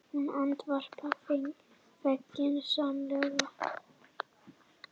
Hún andvarpar feginsamlega.